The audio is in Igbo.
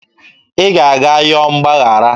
ị ga-aga yọọ mgbaghara